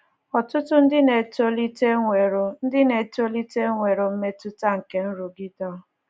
Ọtụtụ ndị na-etolite enwewo ndị na-etolite enwewo mmetụta nke nrụgide a